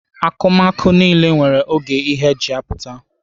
Akụmakụ niile nwere oge ha ji apụta.